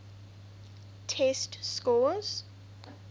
test scores